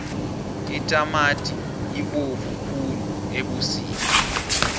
itamati ibovu khulu ebusika